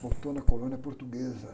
Voltou na colônia portuguesa.